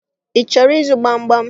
Ị chọrọ ịzụ gbamgbam?